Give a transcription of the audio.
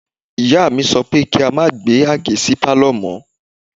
Ìyá mi sọ pé kí a má gbé Àgé sí Pálọ̀ mọ́.